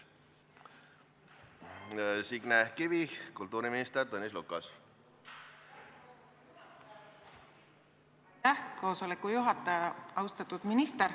Austatud minister!